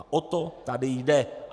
A o to tady jde.